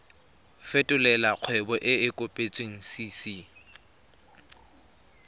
fetolela kgwebo e e kopetswengcc